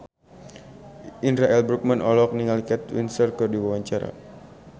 Indra L. Bruggman olohok ningali Kate Winslet keur diwawancara